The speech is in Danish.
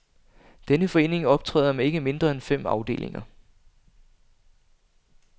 Denne forening optræder med ikke mindre end fem afdelinger.